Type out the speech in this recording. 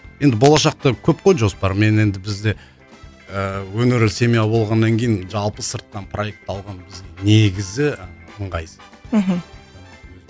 енді болашақта көп қой жоспар мен енді бізде ііі өнерлі семья болғаннан кейін жалпы сырттан проект алған бізге негізі ыңғайсыз мхм